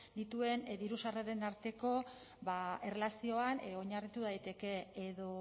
dituen diru sarreren arteko erlazioan oinarritu daiteke edo